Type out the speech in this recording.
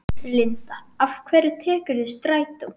Linda: Af hverju tekurðu strætó?